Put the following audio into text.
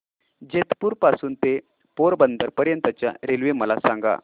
जेतपुर पासून ते पोरबंदर पर्यंत च्या रेल्वे मला सांगा